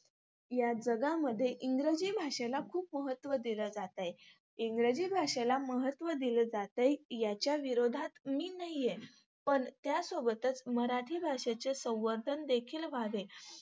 या जगामध्ये इंग्रजी भाषेला खूप महत्व दिलं जातंय. इंग्रजी भाषेला महत्व दिलं जातंय, याच्या विरोधात मी नाहीये. पण त्यासोबतच मराठी भाषेचे संवर्धन देखील व्हावे.